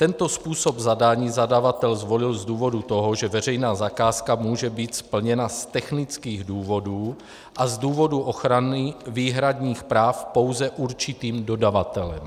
Tento způsob zadání zadavatel zvolil z důvodu toho, že veřejná zakázka může být splněna z technických důvodů a z důvodu ochrany výhradních práv pouze určitým dodavatelem.